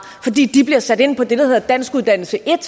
fordi de bliver sat ind på det der hedder danskuddannelse en